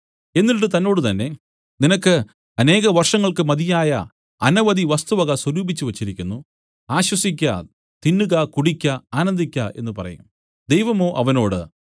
എന്നിട്ട് എന്നോടുതന്നെ നിനക്ക് അനേക വർഷങ്ങൾക്കു മതിയായ അനവധി വസ്തുവക സ്വരൂപിച്ചുവെച്ചിരിക്കുന്നു ആശ്വസിക്ക തിന്നുക കുടിക്ക ആനന്ദിക്ക എന്നു പറയും ദൈവമോ അവനോട്